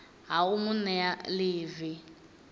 ha u mu nea ḽivi